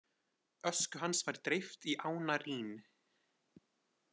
Ösku hans var dreift í ána Rín.